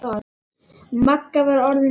Magga var orðin vond.